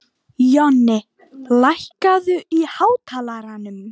Jonni, lækkaðu í hátalaranum.